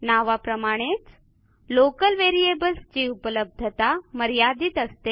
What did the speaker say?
नावाप्रमाणेच local variables ची उपलब्धता मर्यादित असते